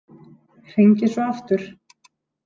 Hringi svo aftur.